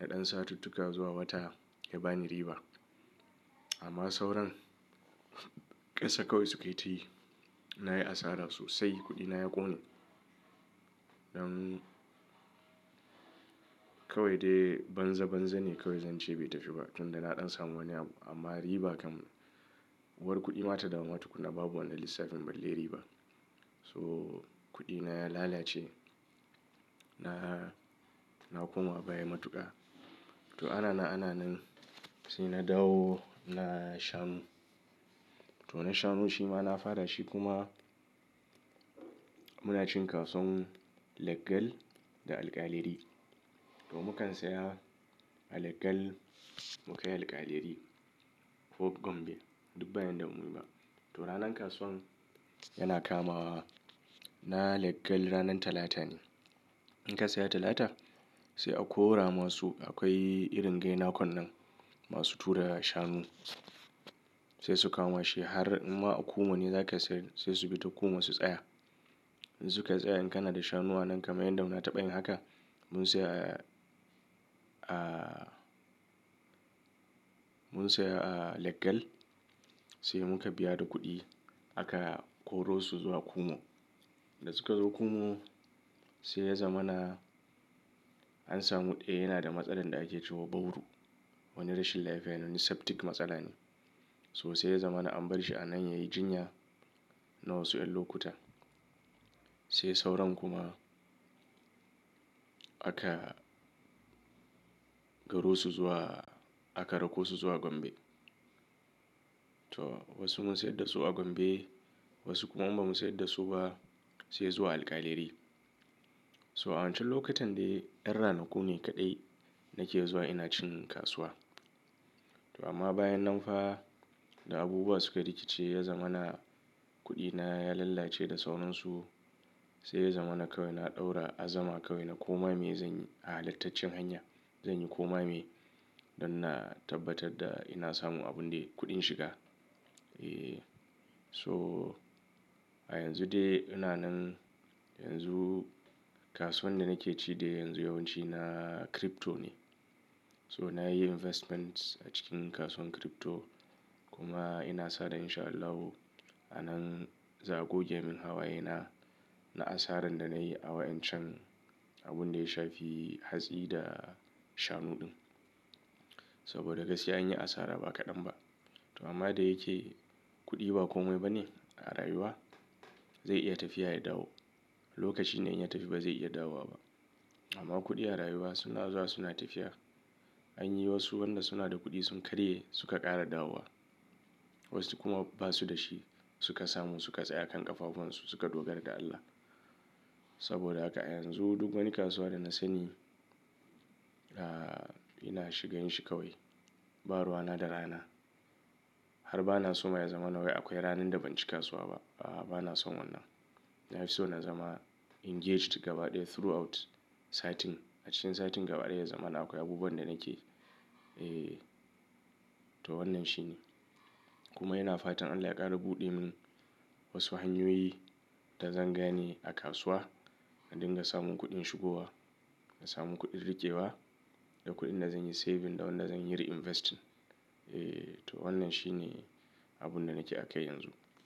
na ɗan satuttuka zuwa wata, ya bani riba. Amma sauran, ƙasa kawai sukayi tayi. Na yi asara sosai, kuɗina ya ƙone. Dan, kawai dai banza banza ne kawai zan ce bai tafi ba, tunda na ɗan samu wani abu, amma riba kam, uwar kuɗi ma ta dawo ma tukuna babu wannan lissafin balle riba. Toh, kuɗina ya lalace, na, na koma baya matuƙa. To ana nan ana nan, sai na dawo na shanu, to na shanu shi ma na fara shi kuma, muna cin kasuwan, leggal da alƙaleri. To mukan saya, a leggal, mu kai alƙaleri, ko Gombe, duk ba yanda bamuyi ba. To ranan kasuwan, yana kamawa, na leggal ranan Talata ne, In ka saya Talata, sai a kora ma su, akwai irin gaina konnan masu tura shanu, sai su kawo ma shi har, imma a kumo ne za ka sayar, sai su bi ta kumo su tsaya, In su ka tsaya in kana da shanu anan kamar yadda na taɓa yin haka, mun saya, ah mun saya a leggal, sai muka biya da kuɗi aka koro su zuwa Kumo. Da suka zo Kumo, sai ya zama na, an samu ɗaya yana da matsalar da ake cewa bawru. Wani rashin lafiya ne, wani septic matsala ne. So sai ya zama na an bar shi a nan yayi jinya, na wasu ƴan lokuta. Sai sauran kuma, aka, garo su zuwa, aka rako su zuwa Gombe. Toh, wasu mun sayar da su a Gombe, wasu kuma bamu sayar da su ba, sai zuwa alƙalere. To a wancan lokutan dai, yan ranaku ne kaɗai nake zuwa ina cin kasuwa. To amma bayan nan fa da abubuwa suka rikice ya zama na kuɗina ya lallace da sauran su, sai ya zama na kawai na ɗaura azama kawai na ko ma me zanyi a halattaccen hanya. Zanyi koma meye, don na tabbatar da ina samu abun dai, kuɗin shiga. Eeh so a yanzu dai ina nan yanzu, kasuwan da nake ci dai yanzu yawanci na crypto ne, to na yi investment a cikin kasuwan crypto, kuma ina sa da in sha Allahu a nan za a goge min hawayena na asaran da nayi a waƴancan abun da ya shafi hatsi da shanu ɗin. Saboda gaskiya anyi asara ba kaɗan ba. To amma da yake kuɗi ba komai ba ne a rayuwa, zai iya tafiya ya dawo. Lokaci ne in ya tafi ba zai iya dawowa ba. Amma kuɗi a rayuwa suna zuwa suna tafiya. Anyi wasu wanda suna da kuɗi sun karye suka ƙara dawowa. Wasu kuma basu da shi, suka samu suka tsaya kan ƙafafuwansu suka dogara da Allah. Saboda haka a yanzu duk wani kasuwa da na sani, ah, ina shigan shi kawai. Ba ruwa na da rana, har bana so ma ya zama na wai akwai ranan da ban ci kasuwa ba, A'a bana son wannan. Na fi so na zama engaged gaba ɗaya throughout satin, A cikin satin gaba ɗaya ya zama na akwai abubuwan da nake, Eeh, to wannan shi ne. Kuma ina fatan Allah ya ƙara buɗe min, wasu hanyoyi da zan gane a kasuwa, na dinga samun kuɗin shigowa, na samu kuɗin riƙe wa, da kuɗin da zan yi saving da wanda zan yi reinvesting. Eeh, to wannan shi ne abun da nake akai yanzu,